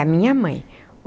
Da minha mãe.